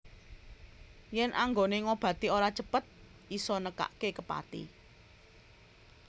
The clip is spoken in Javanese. Yen anggone ngobati ora cepet isa nekake kepati